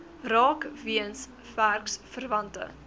raak weens werksverwante